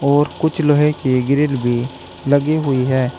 और कुछ लोहे की ग्रिल भी लगी हुई है।